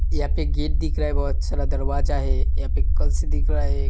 यह पे गेट दिख रहा है। बहोत सारा दरवाजा है। यहाँ पे कल्स दिख रहा है।